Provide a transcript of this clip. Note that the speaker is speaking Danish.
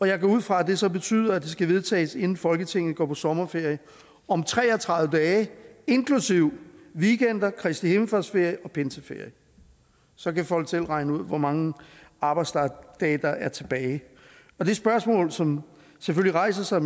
jeg går ud fra at det så betyder at det skal vedtages inden folketinget går på sommerferie om tre og tredive dage inklusive weekender kristihimmelfartsferie og pinseferie så kan folk selv regne ud hvor mange arbejdsdage der er tilbage det spørgsmål som selvfølgelig rejser sig og